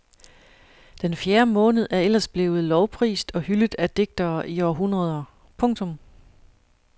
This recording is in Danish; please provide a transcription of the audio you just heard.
Den fjerde måned er ellers blevet lovprist og hyldet af digtere i århundreder. punktum